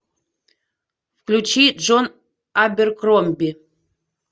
включи джон аберкромби